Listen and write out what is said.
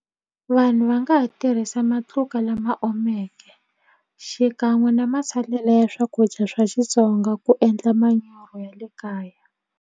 Vanhu va nga ha tirhisa matluka lama omeke xikan'we na masalela ya swakudya swa Xitsonga ku endla ya le kaya.